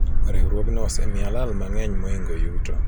riwruogno osemiya lal mang'eny moingo yuto